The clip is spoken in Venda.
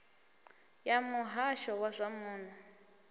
ya muhasho wa zwa muno